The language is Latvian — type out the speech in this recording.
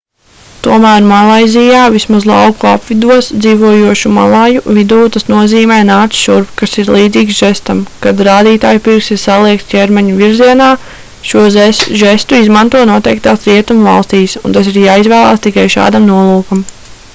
tomēr malaizijā vismaz lauku apvidos dzīvojošu malaju vidū tas nozīmē nāc šurp kas ir līdzīgs žestam kad rādītājpirksts ir saliekts ķermeņa virzienā šo žestu izmanto noteiktās rietumu valstīs un tas ir jāizvēlas tikai šādam nolūkam